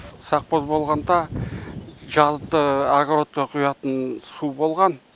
сапқоз болғанда жазды агородқа құятын су болған